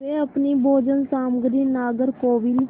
वे अपनी भोजन सामग्री नागरकोविल